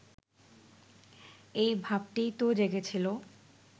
এই ভাবটিই তো জেগেছিল